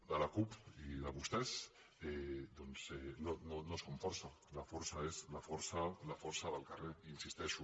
de la cup i de vostès doncs no som força la força és la força del carrer hi insisteixo